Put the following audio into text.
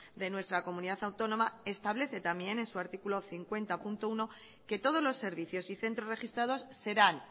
de nuestra comunidad autónoma establece también en su artículo cincuenta punto uno que todos los servicios y centros registrados serán